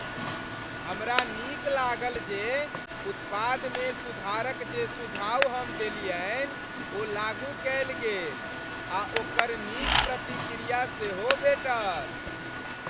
हमरा नीक लागल जे उत्पादमे सुधारक जे सुझाव हम देलियनि ओ लागू कयल गेल आ ओकर नीक प्रतिक्रिया सेहो भेटल।